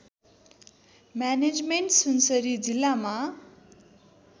management Sunsari जिल्लामा